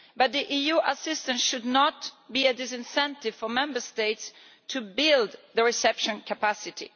But the EU's assistance should not be a disincentive for Member States to build reception capacity.